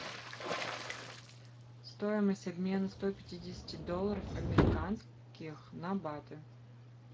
стоимость обмена ста пятидесяти долларов американских на баты